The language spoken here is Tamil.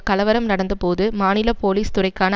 கலவரம் நடந்த போது மாநில போலீஸ் துறைக்கான